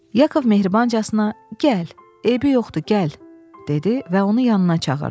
Yakov mehribancasına, "gəl, eybi yoxdur, gəl" dedi və onu yanına çağırdı.